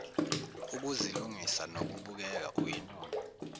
ukuzilungisa nokubukeka uyinono